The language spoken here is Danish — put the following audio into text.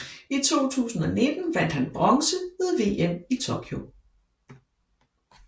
I 2019 vandt han bronze ved VM i Tokyo